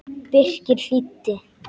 Birkir hlýddi.